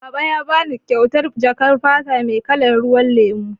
Baba ya bani kyautar jakar fata mai kalar ruwan lemu.